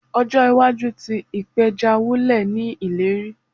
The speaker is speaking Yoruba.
Ojo iwaju ti ipeja wulẹ ni ileri